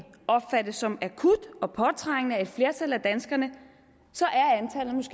opfattes som akut og påtrængende af et flertal af danskerne